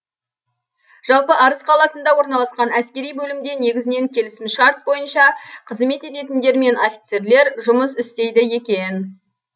жалпы арыс қаласында орналасқан әскери бөлімде негізінен келісімшарт бойынша қызмет ететіндер мен офицерлер жұмыс істейді екен